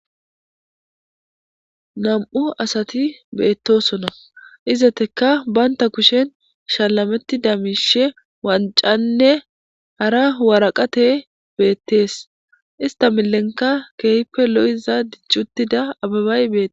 Nam'u asati beetosona izetika banta kushen shalametida miishe wancane hara worakata beetes ista milenka keehipe lo'iza dicutida abebay beetes.